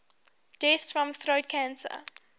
deaths from throat cancer